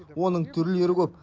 оның түрлері көп